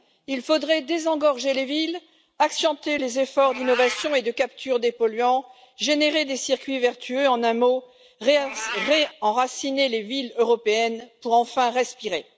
Il faudrait désengorger les villes, accentuer les efforts d'innovation et de capture des polluants, générer des circuits vertueux, en un mot, réenraciner les villes européennes pour enfin respirer.